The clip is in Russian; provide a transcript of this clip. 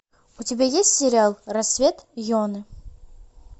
у тебя есть сериал рассвет йоны